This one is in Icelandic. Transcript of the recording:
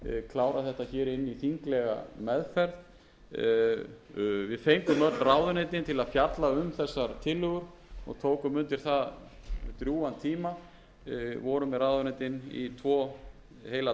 inn í þinglega meðferð við fengum öll ráðuneytin til að fjalla um þessar tillögur og tókum undir það drjúgan tíma vorum með ráðuneytin í tvo heila